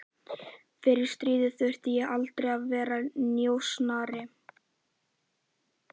Fyrir stríð þurfti ég aldrei að vera njósnari